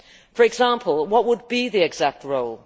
For example, what would be the exact role?